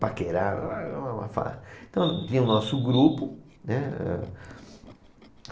Paquerar... Ah, ah, uma farra. Então, tinha o nosso grupo, né?